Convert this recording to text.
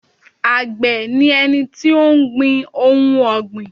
Àgbẹ̀ ni ẹni tó ń gbin ohun ọ̀gbìn